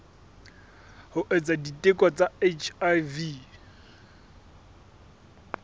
ho etsa diteko tsa hiv